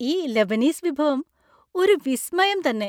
ഈ ലെബനീസ് വിഭവം ഒരു വിസ്മയം തന്നെ.